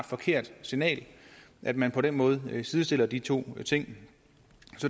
forkert signal at man på den måde sidestiller de to ting